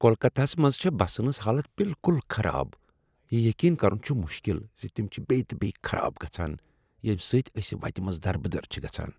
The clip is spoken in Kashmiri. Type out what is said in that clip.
کولکتہ ہس منٛز چھےٚ بسن ہنٛز حالت بالکل خراب۔ یہ یقین کرن چھ مشکل ز تم چھےٚ بیٚیہ تہٕ بیٚیہ خراب گژھان، ییٚمہ سۭتۍ أسۍ منز وتہ دربدر چھ گژھان۔